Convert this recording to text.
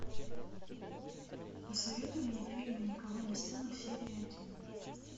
посоветуй мне фильм и никого не стало серия один